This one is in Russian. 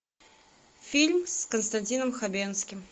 фильм с константином хабенским